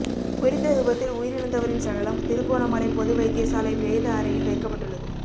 குறித்த விபத்தில் உயிரிழந்தவரின் சடலம் திருகோணமலை பொது வைத்தியசாலை பிரேத அறையில் வைக்கப்பட்டுள்ளது